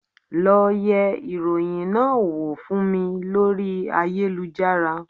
Lọ yẹ ìròyìn náà wò fún mi lórí ayélujára